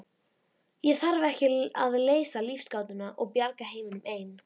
Ég þarf ekki að leysa lífsgátuna og bjarga heiminum ein.